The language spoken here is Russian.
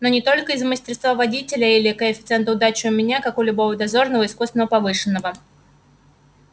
но не только из-за мастерства водителя или коэффициента удачи у меня как у любого дозорного искусственно повышенного